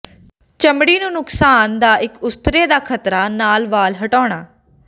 ਚਮੜੀ ਨੂੰ ਨੁਕਸਾਨ ਦਾ ਇੱਕ ਉਸਤਰੇ ਦਾ ਖ਼ਤਰਾ ਨਾਲ ਵਾਲ ਹਟਾਉਣ